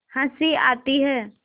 हँसी आती है